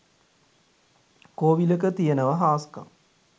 කෝවිලක තියනව හාස්කම්